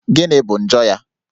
Gịnị bụ njọ ya?